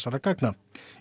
gagnanna